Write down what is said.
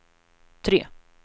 tre